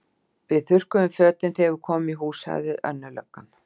Við þurrkum fötin þegar við komum í hús, sagði önnur löggan.